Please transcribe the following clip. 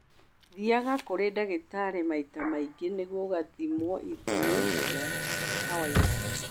Thiaga kũrĩ ndagĩtarĩ maita maingĩ nĩguo ũgathimwo ithimi cia kawaida